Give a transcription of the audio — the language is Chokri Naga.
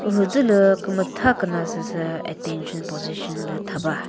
müzülü kümütha küna süsü attention position lü thaba.